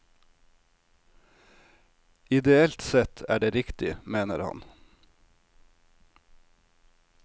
Ideelt sett er det riktig, mener han.